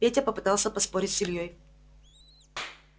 петя попытался поспорить с ильёй